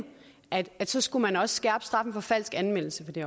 at så skulle man også skærpe straffen for falsk anmeldelse på det